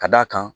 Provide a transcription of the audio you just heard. Ka d'a kan